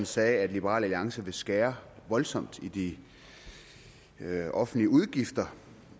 sagde at liberal alliance vil skære voldsomt i de offentlige udgifter